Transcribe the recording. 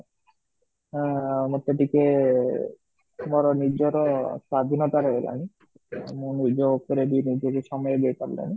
ଆଁ ମୋତେ ଟିକେ ମୋ ନିଜର ସ୍ଵାଧିନତା ରହିଲା ନାହିଁ ମୁଁ ନିଜ ଉପରେ ବି ନିଜେ ସମୟ ଦେଇ ପରିଲିନାହିଁ